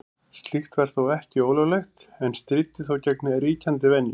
Slíkt var ekki ólöglegt en stríddi þó gegn ríkjandi venju.